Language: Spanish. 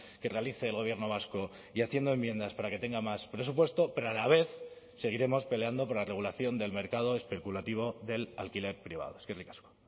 que realice el gobierno vasco y haciendo enmiendas para que tenga más presupuesto pero a la vez seguiremos peleando por la regulación del mercado especulativo del alquiler privado eskerrik asko